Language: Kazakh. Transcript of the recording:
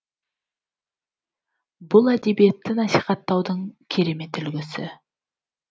бұл әдебиетті насихаттаудың керемет үлгісі